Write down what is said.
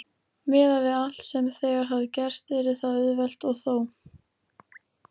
Miðað við allt sem þegar hafði gerst yrði það auðvelt- og þó.